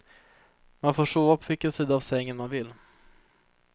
Man får sova på vilken sida av sängen man vill.